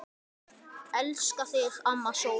Elska þig, amma sól.